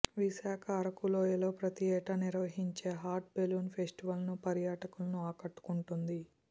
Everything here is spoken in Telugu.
విశాఖ అరకు లోయలో ప్రతి ఏటా నిర్వహించే హాట్ బెలూన్ ఫెస్టివల్ను పర్యాటకులను ఆకట్టుకుంటోంది